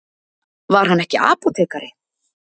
Var hann ekki apótekari?